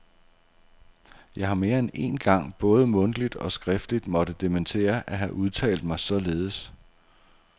Jeg har mere end én gang både mundtligt og skriftligt måtte dementere at have udtalt mig således.